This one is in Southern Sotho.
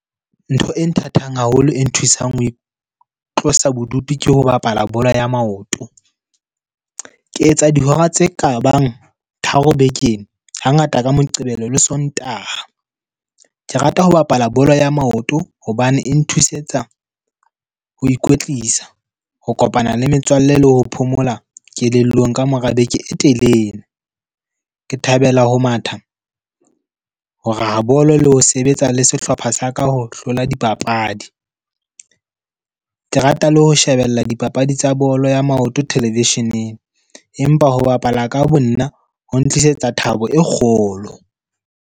Ntho e nthathang haholo e nthusang ho tlosa bodutu ke ho bapala bolo ya maoto. Ke etsa dihora tse kabang tharo bekeng, ha ngata ka Moqebelo le Sontaha. Ke rata ho bapala bolo ya maoto hobane e nthuse tsa ho ikwetlisa. Ho kopana le metswalle le ho phomola kelellong kamora beke e telele. Ke thabela ho matha, ho raya bolo le ho sebetsa le sehlopha sa ka ho hlola dipapadi. Ke rata le ho shebella dipapadi tsa bolo ya maoto television-eng. Empa ho bapala ka bo nna, ho ntlisetsa thabo e kgolo.